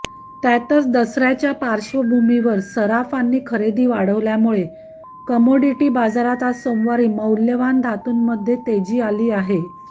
त्यातच दसऱ्याच्या पार्श्वभूमीवर सराफांनी खरेदी वाढवल्यामुळे कमॉडिटी बाजारात आज सोमवारी मौल्यवान धातूंमध्ये तेजी आली आहे